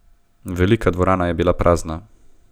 Velika dvorana je bila prazna.